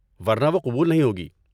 ورنہ وہ قبول نہیں ہوگی۔